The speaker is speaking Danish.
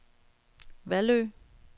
Vallø